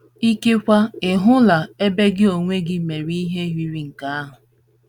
Ikekwe, ị hụla ebe gị onwe gị mere ihe yiri nke ahụ.